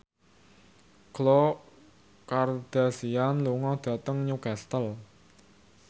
Khloe Kardashian lunga dhateng Newcastle